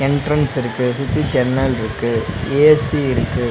Entrance இருக்கு. சுத்தி ஜன்னல்ருக்கு. ஏ_சி இருக்கு.